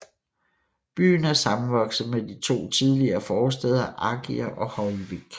Byen er sammenvokset med de to tidligere forstæder Argir og Hoyvík